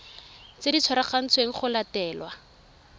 tse di tshwanetsweng go latelwa